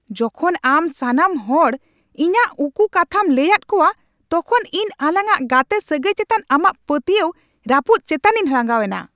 ᱡᱚᱠᱷᱚᱱ ᱟᱢ ᱥᱟᱱᱟᱢ ᱦᱚᱲ ᱤᱧᱟᱹᱜ ᱩᱠᱩ ᱠᱟᱛᱦᱟᱢ ᱞᱟᱹᱭᱟᱫ ᱠᱚᱣᱟ ᱛᱚᱠᱷᱚᱱ ᱤᱧ ᱟᱞᱟᱝᱼᱟᱜ ᱜᱟᱛᱮᱼᱥᱟᱹᱜᱟᱹᱭ ᱪᱮᱛᱟᱱ ᱟᱢᱟᱜ ᱯᱟᱹᱛᱭᱟᱹᱣ ᱨᱟᱹᱯᱩᱫ ᱪᱮᱛᱟᱱᱤᱧ ᱨᱟᱸᱜᱟᱣ ᱮᱱᱟ ᱾